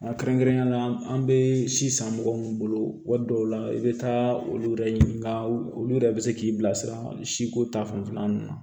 Kɛrɛnkɛrɛnnenya la an bɛ si san mɔgɔ min bolo waati dɔw la i bɛ taa olu yɛrɛ ɲininka olu yɛrɛ bɛ se k'i bilasira siko ta fanfɛla ninnu na